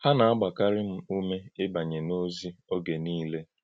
Hà na-agbàkarị m ùmé íbànyè n’òzí oge niile.”